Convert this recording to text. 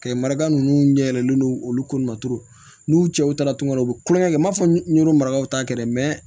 Kɛ maga ninnu ɲɛ yɛlɛlen don olu kolo ma turu n'u cɛw taara tunga u bɛ kulonkɛ kɛ u m'a fɔ n'o marakaw ta kɛ dɛ